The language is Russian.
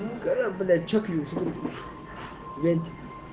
игра блять че нибудь винтика